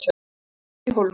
Horfið út í hólmann.